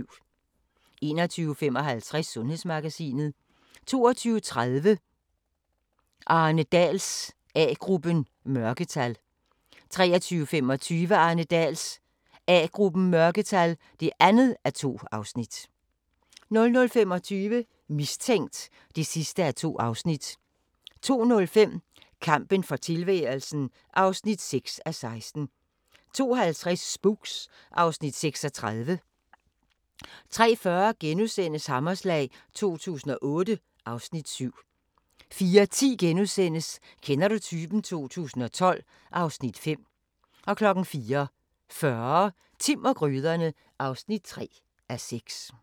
21:55: Sundhedsmagasinet 22:30: Arne Dahls A-gruppen: Mørketal 23:25: Arne Dahls A-gruppen: Mørketal (2:2) 00:25: Mistænkt (2:2) 02:05: Kampen for tilværelsen (6:16) 02:50: Spooks (Afs. 36) 03:40: Hammerslag 2008 (Afs. 7)* 04:10: Kender du typen? 2012 (Afs. 5)* 04:40: Timm og gryderne (3:6)